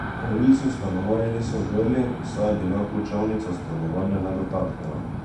Morilci v stanovanje niso vdrli, saj je bila ključavnica stanovanja nedotaknjena.